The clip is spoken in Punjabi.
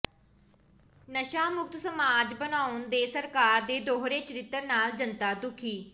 ਨਸ਼ਾ ਮੁਕਤ ਸਮਾਜ ਬਣਾਉਣ ਦੇ ਸਰਕਾਰ ਦੇ ਦੋਹਰੇ ਚਰਿੱਤਰ ਨਾਲ ਜਨਤਾ ਦੁਖੀ